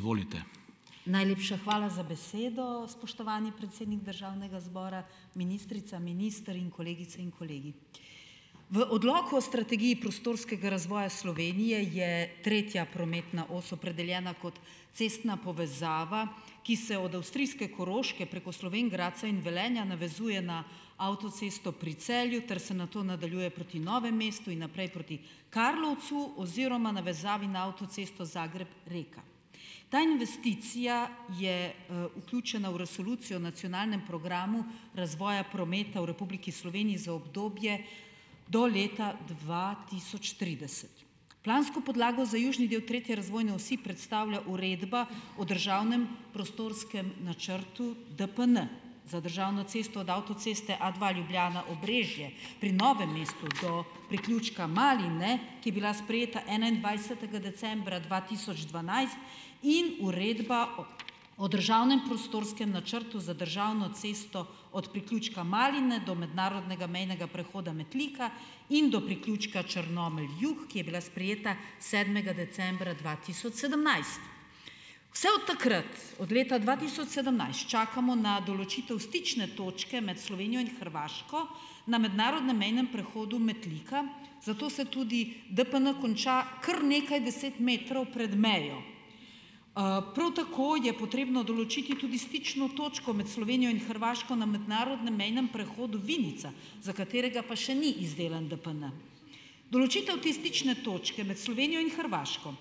Izvolite. Najlepša hvala za besedo, spoštovani predsednik državnega zbora, ministrica, minister in kolegice in kolegi. V odloku o strategiji prostorskega razvoja Slovenije je tretja prometna os opredeljena kot cestna povezava, ki se od avstrijske Koroške preko Slovenj Gradca in Velenja navezuje na avtocesto pri Celju ter se nato nadaljuje proti Novemu mestu in naprej proti Karlovcu oziroma navezavi na avtocesto Zagreb-Reka. Ta investicija je, vključena v Resolucijo o nacionalnem programu razvoja prometa v Republiki Sloveniji za obdobje do leta dva tisoč trideset. Plansko podlago za južni del tretje razvojne osi predstavlja uredba o državnem prostorskem načrtu DPN. Za državno cesto od avtoceste A dva Ljubljana-Obrežje pri Novem mestu do priključka Maline, ki bila sprejeta enaindvajsetega decembra dva tisoč dvanajst in uredba o, o državnem prostorskem načrtu za državno cesto od priključka Maline do mednarodnega mejnega prehoda Metlika in do priključka Črnomelj Jug, ki je bila sprejeta sedmega decembra dva tisoč sedemnajst. Vse od takrat, od leta dva tisoč sedemnajst, čakamo na določitev stične točke med Slovenijo in Hrvaško na mednarodnem mejnem prehodu Metlika, zato se tudi DPN konča kar nekaj deset metrov pred mejo. prav tako je potrebno določiti tudi stično točko med Slovenijo in Hrvaško na mednarodnem mejnem prehodu Vinica, za katerega pa še ni izdelan DPN. Določitev te stične točke med Slovenijo in Hrvaško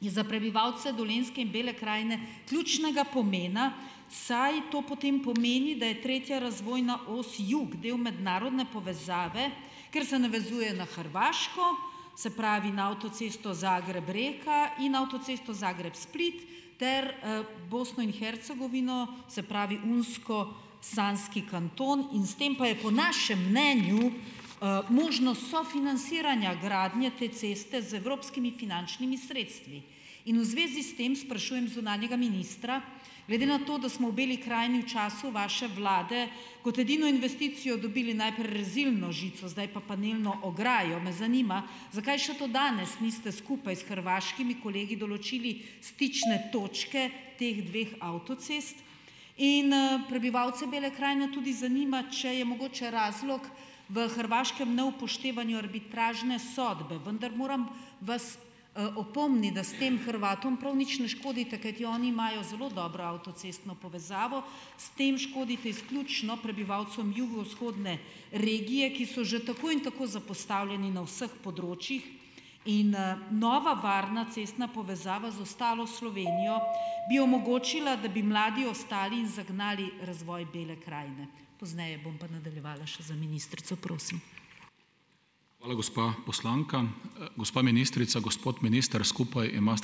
je za prebivalce Dolenjske in Bele krajine ključnega pomena, saj to potem pomeni , da je tretja razvojna os jug del mednarodne povezave, ker se navezuje na Hrvaško, se pravi, na avtocesto Zagreb-Reka in avtocesto Zagreb-Split ter, Bosno in Hercegovino, se pravi, Unsko, Sanski kanton in s tem pa je po našem mnenju, možno sofinansiranja gradnje te ceste z evropskimi finančnimi sredstvi. In v zvezi s tem sprašujem zunanjega ministra, glede na to, da smo v Beli krajini v času vaše vlade kot edino investicijo dobili najprej rezilno žico, zdaj pa panelno ograjo, me zanima zakaj še do danes niste skupaj s hrvaškimi kolegi določili stične točke teh dveh avtocest in, prebivalce Bele krajine tudi zanima, če je mogoče razlog v hrvaškem neupoštevanju arbitražne sodbe. Vendar moram vas, opomniti, da s tem Hrvatom prav nič ne škodite, kajti oni imajo zelo dobro avtocestno povezavo. S tem škodite izključno prebivalcem jugovzhodne regije, ki so že tako in tako zapostavljeni na vseh področjih in, nova varna cestna povezava z ostalo Slovenijo bi omogočila , da bi mladi ostali in zagnali razvoj Bele krajine. Pozneje bom pa nadaljevala še za ministrico, prosim. Hvala, gospa poslanka. gospa ministrica, gospod minister, skupaj ...